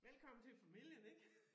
Velkommen til familien ik